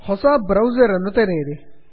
ಹೊಸ ಬ್ರೌಸರ್ ಅನ್ನು ತೆರೆಯಿರಿ